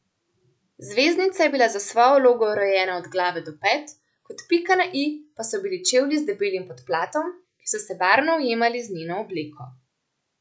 Zvezdnica je bila za svojo vlogo urejena od glave do pet, kot pika na i pa so bili čevlji z debelim podplatom, ki so se barvno ujemali z njeno obleko.